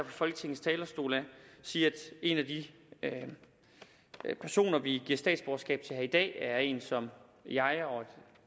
folketingets talerstol sige at en af de personer vi giver statsborgerskab til her i dag er en som jeg og